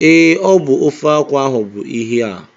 Ee, ọ bụ ofe akwụ ahụ bụ ihe a